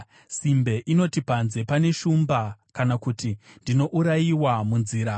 Simbe inoti, “Panze pane shumba,” kana kuti, “Ndinourayiwa munzira!”